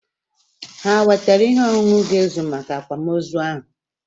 Hà e wetara ihe ọṅụṅụ ga-ezu maka Akwam ozu ahu?